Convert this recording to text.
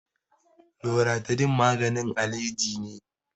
Loratidin maganin alaji ne.